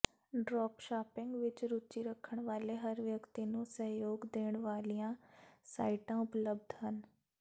dropshipping ਵਿੱਚ ਰੁਚੀ ਰੱਖਣ ਵਾਲੇ ਹਰ ਵਿਅਕਤੀ ਨੂੰ ਸਹਿਯੋਗ ਦੇਣ ਵਾਲੀਆਂ ਸਾਈਟਾਂ ਉਪਲਬਧ ਹਨ